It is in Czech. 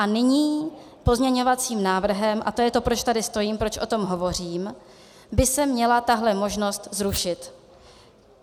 A nyní pozměňovacím návrhem, a to je to, proč tady stojím, proč o tom hovořím, by se měla tahle možnost zrušit.